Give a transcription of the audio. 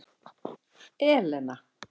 Elena